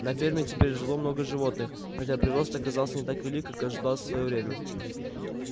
на ферме теперь жило много животных хотя прирост оказался не так велик как ожидалось в своё время